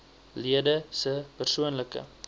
lede se persoonlike